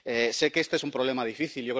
Sé que este es un problema difícil